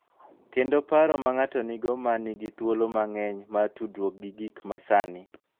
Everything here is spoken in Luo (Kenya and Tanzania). Kendo paro ma ng�ato nigo ma nigi thuolo mang�eny mar tudruok gi gik ma sani.